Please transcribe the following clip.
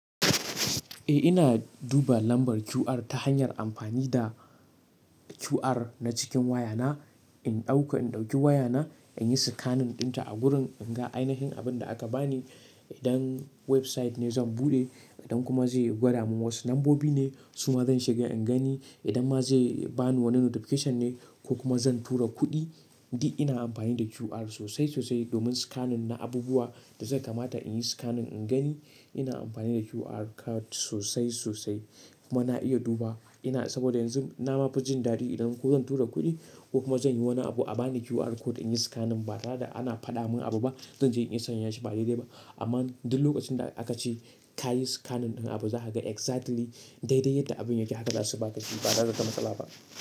Eh ina duba lambar QR ta hanyar amfani da QR na cikin waya na, in ɗauka in ɗauki waya na in yi scanning ɗinta a gurin in ga ainihin abin da aka bani. Idan website ne zan buɗe, idan kuma zai gwada mun wasu lambobi ne su ma zan shiga in gani. Idan ma zai bani wani notification ne ko kuma zan tura kuɗi. Di ina amfani da QR sosai sosai domin scanning na abubuwa da zai kamata in yi scanning in gani. Ina amfani da QR code sosai-sosai kuma na iya duba ina saboda yanzu na ma fi jin daɗi idan ko zan tura kuɗi ko kuma zan yi wani abu a bani QR code in yi scanning ba tare da ana faɗa mun abu ba, zan je in iya sanya shi ba daidai ba. Amman duk lokacin da aka ce ka yi scanning ɗin abu za ka ga exactly daidai yadda abin yake haka za su ba ka shi ba tare da wata matsala ba.